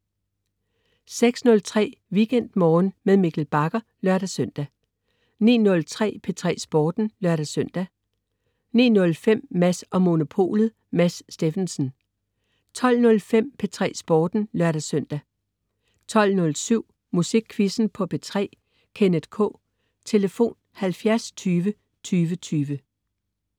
06.03 WeekendMorgen med Mikkel Bagger (lør-søn) 09.03 P3 Sporten (lør-søn) 09.05 Mads & Monopolet. Mads Steffensen 12.05 P3 Sporten (lør-søn) 12.07 Musikquizzen på P3. Kenneth K. Tlf.: 70 20 20 20